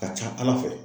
Ka ca ala fɛ